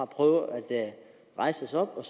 prøve at rejse os op og